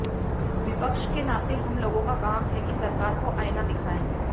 विपक्ष के नाते हमलोगों का काम है कि सरकार को आईना देखाऊं